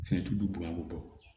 Fɛn t'u bonya ko bɔn